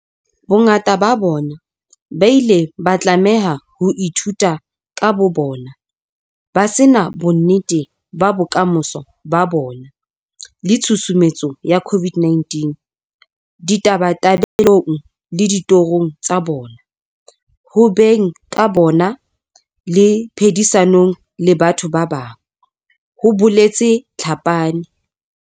Bongata ba bona ba ile ba tlameha ho ithuta ka bobona, ba se na bonnete ba bokamoso ba bona le tshusumetso ya COVID-19 ditabatabelong le ditorong tsa bona, ho beng ka bona le phedisanong le batho ba bang, ho boletse Tlhapane.